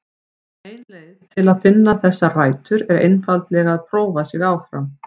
Ein leið til að finna þessar rætur er einfaldlega að prófa sig áfram.